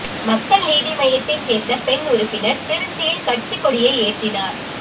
மக்கள் நீதி மய்யத்தை சேர்ந்த பெண் உறுப்பினர் திருச்சியில் கட்சி கொடியை ஏற்றினார்